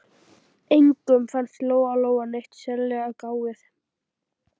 Engum fannst Lóa Lóa neitt sérlega gáfuð.